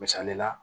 Misali la